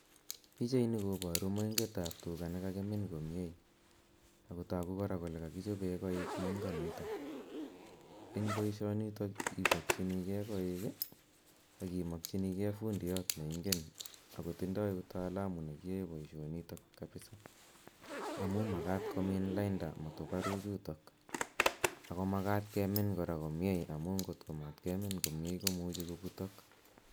Pichaini kobaru moingetab tuga ne kagimin komie ago tagu kora kole kagichopen koik moingonito. Eng boisionito ibaksinige koik ii ak imakyinige fundiyot ne ingen ak kotindoi utalamu ne giyoen boisionito kabisa amu magat komin lainda matuparu chutok ago magat kemin kora komie amu ngot ko memin komie komuche koputok.